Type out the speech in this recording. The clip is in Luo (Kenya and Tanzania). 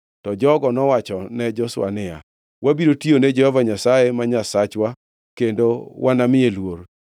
To jogo nowachone Joshua niya, “Wabiro tiyone Jehova Nyasaye ma Nyasachwa kendo wanamiye luor.”